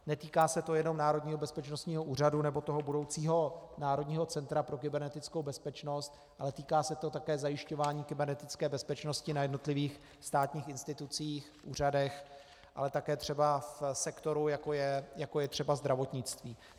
Netýká se to jenom Národního bezpečnostního úřadu nebo toho budoucího Národního centra pro kybernetickou bezpečnost, ale týká se to také zajišťování kybernetické bezpečnosti na jednotlivých státních institucích, úřadech, ale také třeba v sektoru, jako je třeba zdravotnictví.